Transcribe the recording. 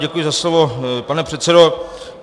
Děkuji za slovo, pane předsedo.